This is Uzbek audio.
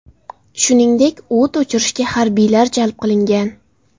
Shuningdek, o‘t o‘chirishga harbiylar jalb qilingan.